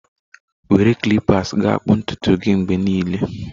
Were clippers ga akpụ ntutu gị mgbe niile